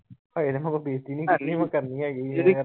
ਅਜੇ ਤਾਂ ਬੇਜ਼ਤੀ ਨੀ ਕੀਤੀ ਕਰਨੀ ਹੈਗੀ ਆ।